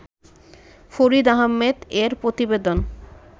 ফরিদ আহমেদ এর প্রতিবেদন